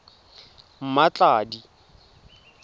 mmatladi